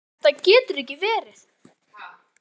Þetta getur ekki verið!